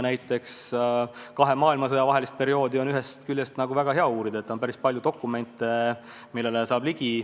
Näiteks kahe maailmasõja vahelist perioodi on ühest küljest väga hea uurida: on päris palju dokumente, millele saab ligi.